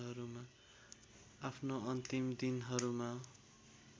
आफ्नो अन्तिम दिनहरूमा